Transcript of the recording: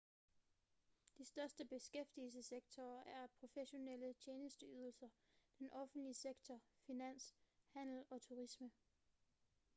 de største beskæftigelsessektorer er professionelle tjenesteydelser den offentlige sektor finans handel og turisme